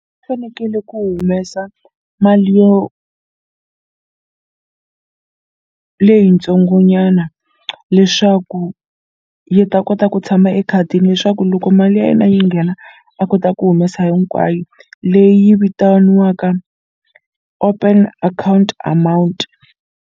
U fanekele ku humesa mali yo leyi tsongo nyana leswaku yi ta kota ku tshama ekhadini leswaku loko mali ya yena yi nghena a kota ku humesa hinkwayo leyi vitaniwaka open account amount.